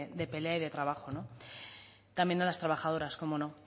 de pelea y de trabajo también a las trabajadoras cómo no